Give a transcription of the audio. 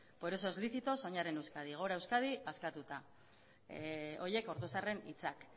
por eso es lícito soñar en euskadi gora euskadi askatuta horiek ortuzarren hitzak